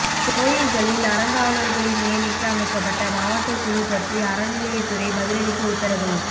கோயில்களில் அறங்காவலர்களின் நியமிக்க அமைக்கப்பட்ட மாவட்ட குழு பற்றி அறநிலையத்துறை பதிலளிக்க உத்தரவு